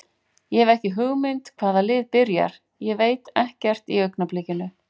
Ég hef ekki hugmynd hvaða lið byrjar, ég veit ekkert í augnablikinu.